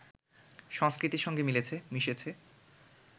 সংস্কৃতির সঙ্গে মিলেছে, মিশেছে